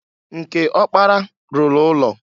Nke ọkpara lụrụ ụlọ.